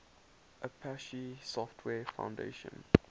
apache software foundation